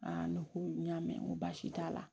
ne ko n y'a mɛn n ko baasi t'a la